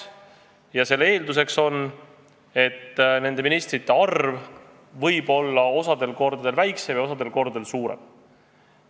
Ja omakorda selle eeldus on, et ministrite arv võib vahel olla väiksem ja vahel suurem.